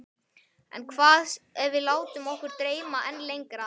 En hvað ef við látum okkar dreyma enn lengra?